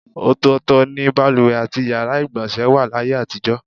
Ò̩tò̩ò̩tò̩ ni baluwè àti yàrá ìgbò̩nsè̩ wà láyé àtijò̩.